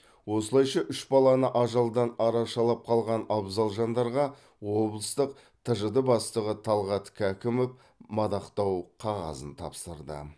осылайша үш баланы ажалдан арашалап қалған абзал жандарға облыстық тжд бастығы талғат кәкімов мадақтау қағазын тапсырды